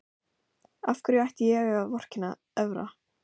Af hverju ætti ég að vorkenna Evra?